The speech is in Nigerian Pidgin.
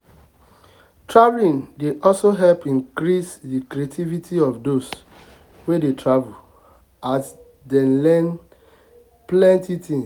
traveling dey also help increase the creativity of those wey dey travel as dem learn plenty things.